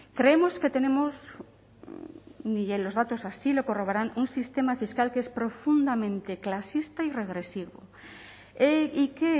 creemos que tenemos y los datos así lo corroboran un sistema fiscal que es profundamente clasista y regresivo y que